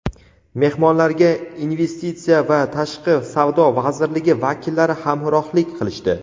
Mehmonlarga Investitsiya va tashqi savdo vazirligi vakillari hamrohlik qilishdi.